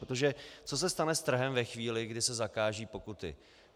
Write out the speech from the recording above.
Protože co se stane s trhem ve chvíli, kdy se zakážou pokuty?